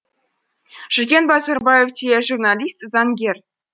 жүкен базарбаев тележурналист заңгер